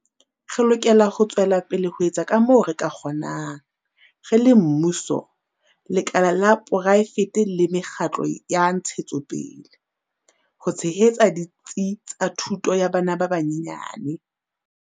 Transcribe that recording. Re lokela ho tswela pele ho etsa kamoo re ka kgonang, re le mmuso, lekala la poraefete le me kgatlo ya ntshetsopele, ho tshehetsa ditsi tsa thuto ya bana ba banyenyane.